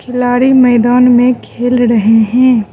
खिलाड़ी मैदान में खेल रहे हैं।